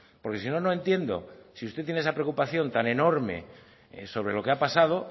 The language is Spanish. porque si no no entiendo si usted tiene esa preocupación tan enorme sobre lo que ha pasado